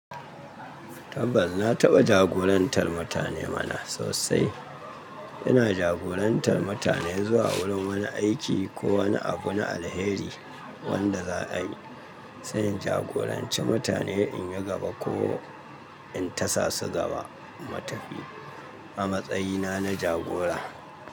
Tabbas na taɓa jagorantar mutane mana sosai. Ina jagorantar mutane zuwa wurin wani aiki ko wani abu na alheri wanda za a yi. Sai in jagoranci mutane in yi gaba ko in tasa su gaba mu tafi a matsayina na jagora.